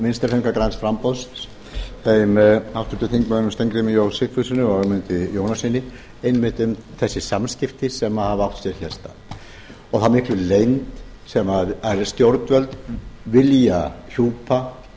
vinstri hreyfingarinnar græns framboðs þeim háttvirtum þingmönnum steingrími j sigfússyni og ögmundi jónassyni einmitt um þessi samskipti sem hafa átt sér hér stað og þá miklu leynd sem stjórnvöld vilja hjúpa